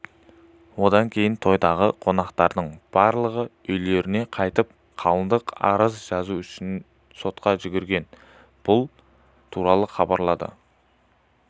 осыдан кейін тойдағы қонақтардың барлығы үйлеріне қайтып қалыңдық арыз жазу үшін сотқа жүгірген бұл туралы хабарлады